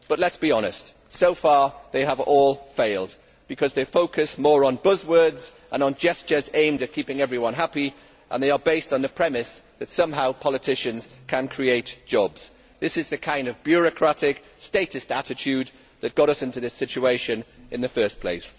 But let us be honest so far they have all failed, because they focus more on buzz words and on gestures aimed at keeping everyone happy and are based on the premise that somehow politicians can create jobs. This is the kind of bureaucratic, statist attitude that got us into this situation in the first place.